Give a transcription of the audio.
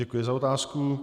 Děkuji za otázku.